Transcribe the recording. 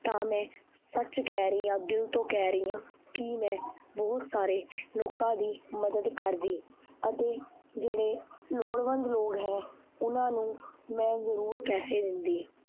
ਤਾਂ ਮੈਂ ਸੱਚ ਕਹਿ ਰਹੀ ਹਾਂ ਦਿਲ ਤੋਂ ਕਹਿ ਰਹੀ ਹਾਂ ਕਿ ਮੈਂ ਬਹੁਤ ਸਾਰੇ ਲੋਕਾਂ ਦੀ ਮਦਦ ਕਰਦੀ, ਅਤੇ ਜਿਹੜੇ ਲੋੜਵੰਦ ਲੋਕ ਹੈ, ਉਹਨਾਂ ਨੂੰ ਮੈਂ ਜ਼ਰੂਰ ਪੈਸੇ ਦਿੰਦੀ।